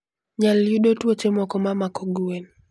nyal yudo tuoche moko ma mako gwen.